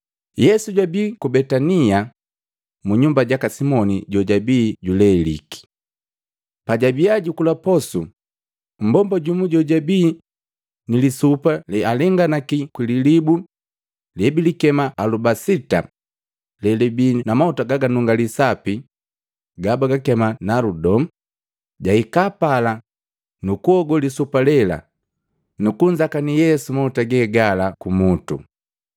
Yesu jwabii ku Betania, munyumba jaka Simoni jojabii juleliki. Pajabia jukula posu, mmbomba jumu jojabii ni lisupa lealenganaki kwi lilibu lebilikema alubasita lelibii na mahuta gaganungali sapi gabagakema naludo, jahika pala nukuhogo lisupa lela nukunzakanii Yesu mauta gegala kumutu.